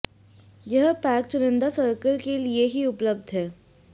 यह पैक चुनिंदा सर्कल के लिए ही उपलब्ध है